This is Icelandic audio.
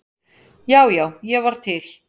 Já, já, ég var til.